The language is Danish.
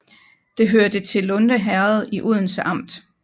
Det hørte til Lunde Herred i Odense Amt